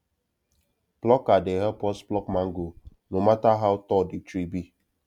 plucker dey help us pluck mango no matter how tall the tree be